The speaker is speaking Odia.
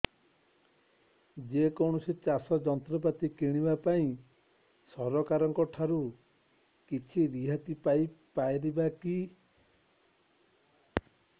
ଯେ କୌଣସି ଚାଷ ଯନ୍ତ୍ରପାତି କିଣିବା ପାଇଁ ସରକାରଙ୍କ ଠାରୁ କିଛି ରିହାତି ପାଇ ପାରିବା କି